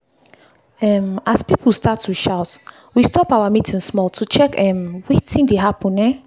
um as people start to shout we stop our meeting small to check um wetin dey happen. um